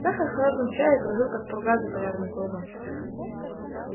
сахар в холодном чае кружил как пурга за полярным кругом